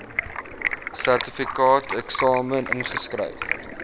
sertifikaateksamen ingeskryf